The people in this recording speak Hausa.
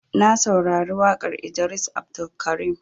Na saurari waƙar Idris Abdulkarim.